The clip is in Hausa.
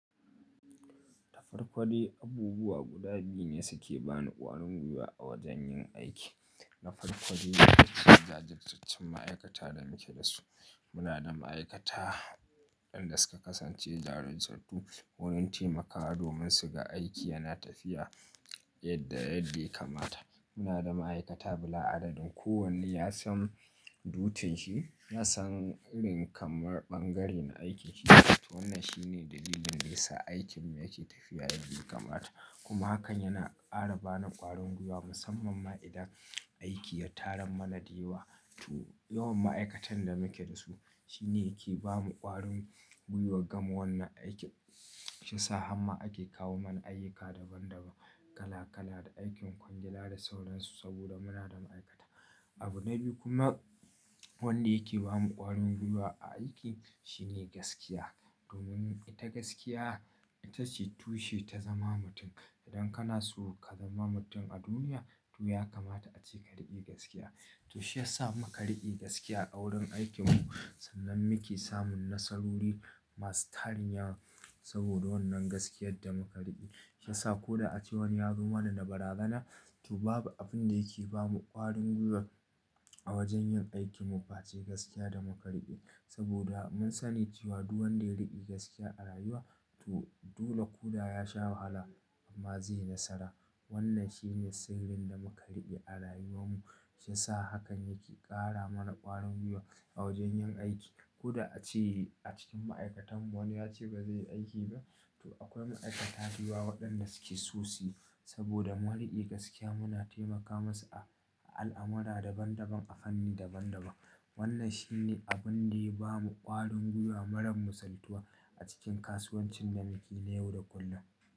Dafarko dai abubuwa guda biyu ne suke bani ƙwarin gwiwa a wajen yin aiki. Nafarko dai ita ce jajirtattun ma'aikata da muke da su. Muna da ma'aikata waɗanda suka kasance jajirtattu, wurin taimakawa domin su ga aiki yana tafiya yadda ya kamata. Muna da ma'aikata bila adadin. Kowanne ya san dutin shi, ya san irin kamar ɓangaren aikin shi. To wannan shine dalilin da ya sa aikin mu yake tafiya yadda ya kamata. Kuma hakan yana ƙara bani ƙwarin gwiwa musamman ma idan aiki ya taran mana dewa. To yawan ma'aikatan da muke da su shine yake ba mu ƙwarin gwiwa gama wannan aiki, shi ya sa hamma ake kawo mana ayyuka daban daban, kala-kala da aikin kwangela da sauransu saboda muna da ma'aikata. Abu na biyu kuma wanda yake ba mu ƙwarin gwiwa a aiki shine gaskiya. Domin ita gaskiya ita ce tushe ta zama mutum. Idan kana so ka zama mutum a duniya to ya kamata ace ka riƙi gaskiya. To shi ya sa muka riƙi gaskiya a wurin aikin mu sannan muke samun nasarori masu tarin yawa saboda wannan gaskiyar da muka riƙi. Shi ya sa ko da ace wani ya zo mana da barazana, to babu abunda yake bamu kwarin gwiwa a wajen yin aikin mu face gaskiya da muka riƙi. Saboda mun sani cewa duk wanda ya riƙi gaskiya a rayuwa to dole ko da ya sha wahala amma zai yi nasara. Wannan shine sirrin da muka riƙe a rayuwan mu. Shi ya sa hakan yake ƙara mana ƙwarin gwiwa a wajen yin aiki. Koda ace acikin ma'aikatan mu akwai wanda yace bazaiyi aiki ba, to akwai ma'aikata da yawa wadanda suke so suyi, saboda wani mu dai gaskiya muna taimaka musu a al'amura daban daban a hannu daban daban. Wannan shi ne abin da ya ba mu ƙwarin gwiwa marar misaltuwa a cikin kasuwancin nan muke na yau da kullum.